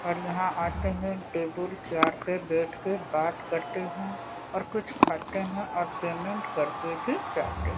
और यहां आते हैं टेबुल चार्ट पे बैठके बात करते हैं और कुछ खाते हैं और पेमेंट करते भी जाते --